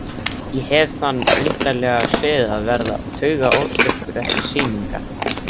Ég hef þann undarlega sið að verða taugaóstyrkur eftir sýningar.